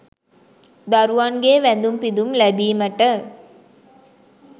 දරුවන්ගේ වැඳුම් පිඳුම් ලැබීමට